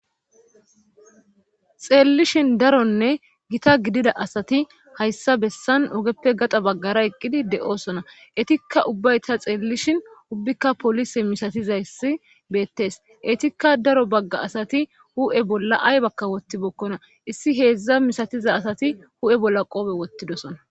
xeellishin daronne gita gidida asati hayssa bessan ogeppe gaxa baggara eqqidi de7osona etikka ubbay ta xeellishin ubbikka polise misatizaysi beettes etikka daro bagga asati hu7e bolla ay bakka wotti bokkona issi heedzdza misatiza asati hu7e bolla qoobe wottidosona